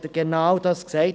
Er hat genau dies gesagt.